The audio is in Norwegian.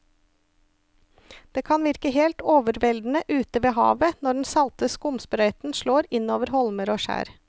Det kan virke helt overveldende ute ved havet når den salte skumsprøyten slår innover holmer og skjær.